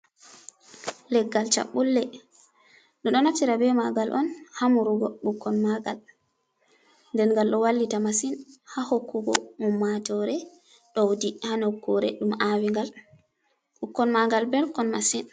Leggal chaɓɓulle, ɓe ɗo natira be magal on ha murugo ɓikkoi maagal. Nden ngal ɗo wallita masin ha hokkugo um matoore ɗowdi ha nokkure ɗum aawi ngal. Ɓikkoi magal belkon masin.